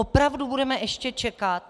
Opravdu budeme ještě čekat?